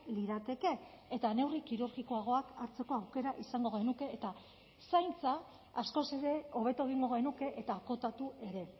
lirateke eta neurri kirurgikoagoak hartzeko aukera izango genuke eta zaintza askoz ere hobeto egingo genuke eta akotatu ere